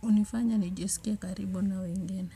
hunifanya nijisikie karibu na wengine.